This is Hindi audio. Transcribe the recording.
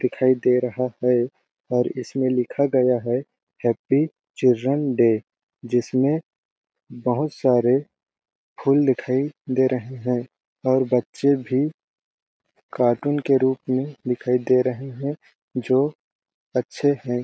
दिखाई दे रहा है और इसमें लिखा गया है हैप्पी चिल्ड्रन डे जिसमें बहुत सारे फूल दिखाई दे रहे है और बच्चे भी कार्टून के रूप में दिखाई दे रहे है जो अच्छे है।